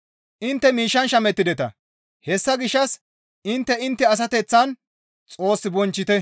Intte miishshan shamettideta; hessa gishshas intte intte asateththan Xoos bonchchite.